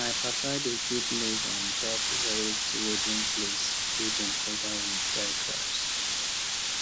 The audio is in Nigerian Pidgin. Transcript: my papa dey keep maize on top raised wooden place wey dem cover with dry grass